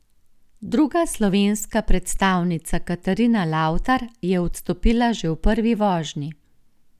Druga slovenska predstavnica Katarina Lavtar je odstopila že v prvi vožnji.